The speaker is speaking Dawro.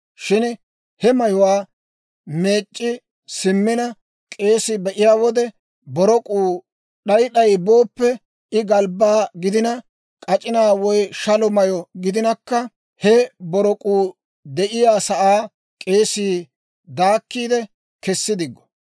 Shin he mayuwaa meec'c'i simmina k'eesii be'iyaa wode borok'uu d'ay d'ay booppe, I galbbaa gidina, k'ac'inaa woy shalo mayyo gidinakka, he borok'uu de'iyaa sa'aa k'eesii daakkiide kessi diggo.